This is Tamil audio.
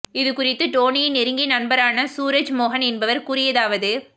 இது குறித்து டோணியின் நெருங்கிய நண்பரான சூரஜ் மோகன் என்பவர் கூறியதாவது